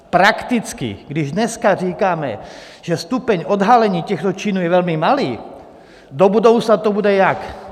Prakticky, když dneska říkáme, že stupeň odhalení těchto činů je velmi malý, do budoucna to bude jak?